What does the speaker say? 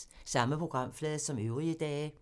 Samme programflade som øvrige dage